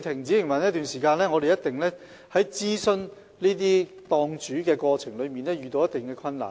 這樣，我們一定要諮詢檔主，過程中也會遇到一定困難。